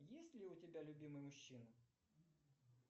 есть ли у тебя любимый мужчина